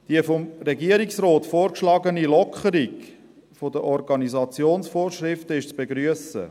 Die vom Regierungsrat vorgeschlagene Lockerung der Organisationsvorschriften ist zu begrüssen.